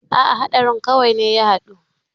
A'a haɗari kawai ne ya haɗu.